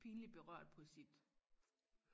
pinlig berørt på sit